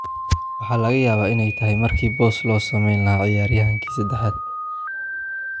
Waxa laga yaabaa in ay tahay markii boos loo samayn lahaa ciyaaryahan saddexaad.